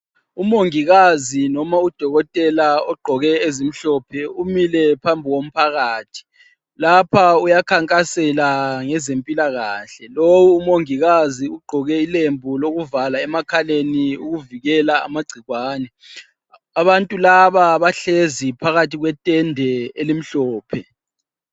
Umongikazi noma udokotela ogqoke ezimhlophe umile phambi komphakathi, lapha uyakhankasela ngeze mpilakahle lowu umongikazi ugqoke ilembu lokuvala emakhaleni ukuvikela amagcikwane. Abantu laba bahlezi phakathi kwe tende elimhlophe.